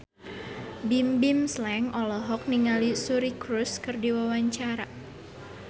Bimbim Slank olohok ningali Suri Cruise keur diwawancara